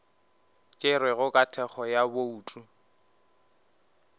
tšerwego ka thekgo ya bouto